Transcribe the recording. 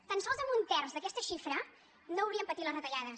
tan sols amb un terç d’aquesta xifra no hauríem patit les retallades